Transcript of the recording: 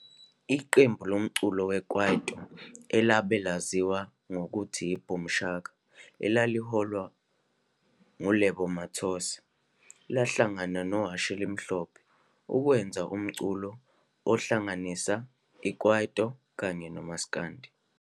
Iqembu lomculo weKwaito alabe laziwa ngokuthi yi-Boom Shaka elaliholwa nguLebo Mathosa lahlangana noHashi Elimhlophe ukwenza umculo ohlanganisa iKwaito kanye nomsakandi.